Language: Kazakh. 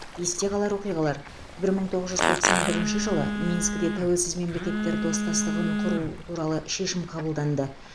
есте қалар оқиғалар бір мың тоғыз жүз тоқсан бірінші жылы минскіде тәуелсіз мемлекеттер достастығын құру туралы шешім қабылданды